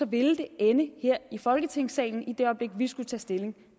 vil ende her i folketingssalen i det øjeblik vi skulle tage stilling